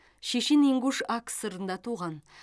шешен ингуш акср ында туған